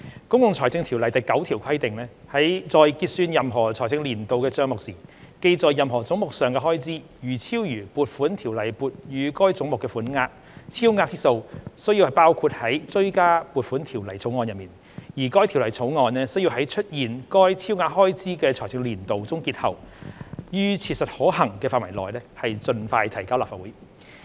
《公共財政條例》第9條規定："在結算任何財政年度的帳目時，記在任何總目上的開支如超逾撥款條例撥予該總目的款額，超額之數須包括在追加撥款條例草案內，而該條例草案須在出現該超額開支的財政年度終結後，於切實可行範圍內盡快提交立法會。